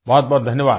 बहुतबहुत धन्यवाद